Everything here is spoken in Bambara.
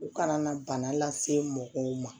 U kana na bana lase mɔgɔw ma